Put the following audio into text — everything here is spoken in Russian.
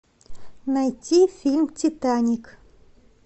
найти фильм титаник